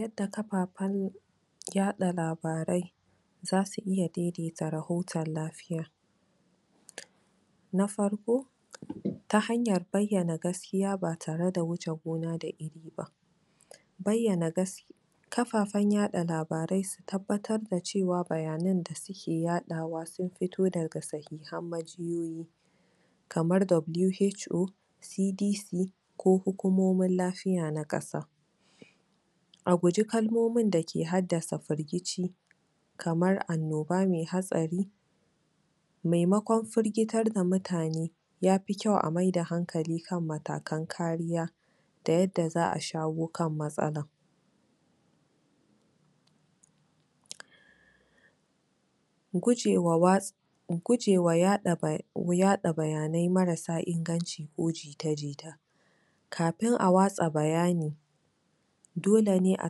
Yadda kafafen yaɗa labarai za su iya daidaita rahoton lafiya na farko ta hanyar bayyana gaskiya ba tare da wuce gona da iri ba bayyana gas... kafafen yaɗa labarai su tabbar da cewa bayanan da suke yaɗawa sun fito daga sahihan majiyoyi kamar WHO TDC ko hukumomin lafiya na ƙasa a guji kalmomin dake haddasa firgici kamar annoba mai hatsari maimakon firgitar da mutane ya fi kyau a maida hankali kan matakan kariya da yadda za a shawo kan matsalar mu gujewa wats... mu gujewa yaɗa bayanai marasa inganci ko jita-jita kafin a watsa bayani dole a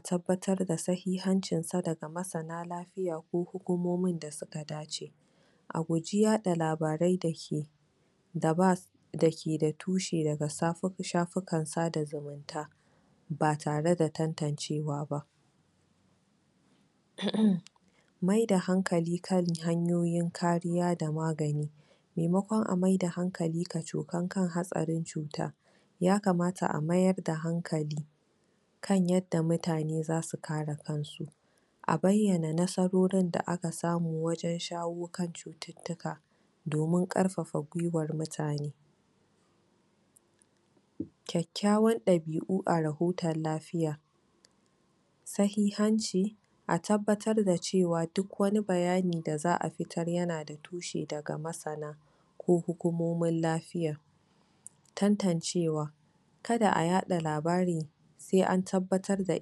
tabbatar da sahihancinsa daga masana lafiya ko hukumomin da suka dace a guji yaɗa labarai dake da ba s... dake da tushe daga shafukan sada zumunta ba tare da tantancewa ba emem maida hankali kan hanyoyin kariya da magani maimakon a maida hankali kacokam kan hatsarin cuta ya kamata a mayar da hankali kan yadda mutane za su kare kansu a bayyana nasarorin da aka samu wajen shawo kan cututtuka kyakkyawan dabi'u a rahoton lafiya sahihanci a tabbatar da cewa duk wani bayani da za a fitar yana da tushe daga masana ko hukumomin lafiya tantancewa kada a yaɗa labari sai an tabbatar da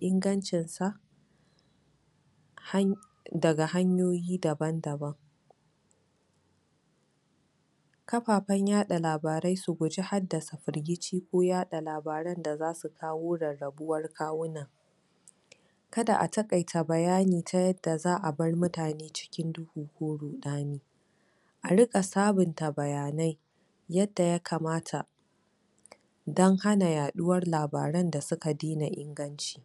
ingancin sa daga hanyoyi daban-daban kafafen yaɗa labarai su guji haddasa firgici ko yaɗa labaran da za su kawo rarrabuwar kawuna kada a taƙaita bayani ta yadda za a bayar mutane cikin duhu ko ruɗani a riƙa sabunta bayanai yadda ya kamata don hana yaɗuwar labaran da suka daina inganci